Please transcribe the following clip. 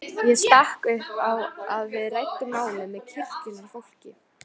Ég stakk upp á að við ræddum málið með kirkjunnar fólki.